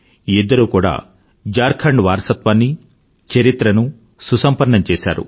ఇద్దరూ కూడా ఝార్ఖండ్ వారసత్వాన్నీ చరిత్ర నూ సంపన్నం చేశారు